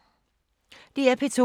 DR P2